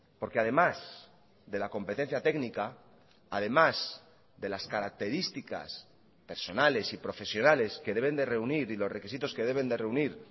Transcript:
porque además de la competencia técnica además de las características personales y profesionales que deben de reunir y los requisitos que deben de reunir